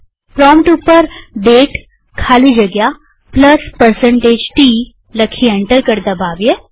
prompt ઉપર દાતે ખાલી જગ્યા T લખી એન્ટર કળ દબાવીએ